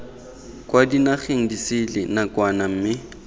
kwa dinageng disele nakwana mme